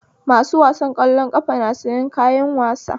Masu wasan ƙwallon ƙafa na sayan kayan wasa